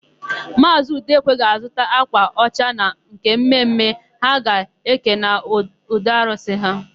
Maazị Udekwe ga-azụta ákwà ọcha na nke mme mme ha ga-eke n'ụlọarụsị ha.